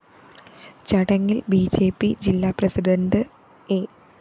ചടങ്ങില്‍ B J P ജില്ലാപ്രസിഡണ്ട് A